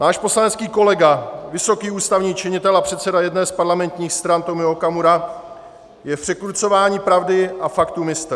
Váš poslanecký kolega, vysoký ústavní činitel a předseda jedné z parlamentních stran Tomio Okamura, je v překrucování pravdy a faktů mistr.